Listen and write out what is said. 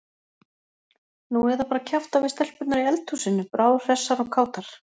Nú eða bara kjafta við stelpurnar í eldhúsinu, bráðhressar og kátar.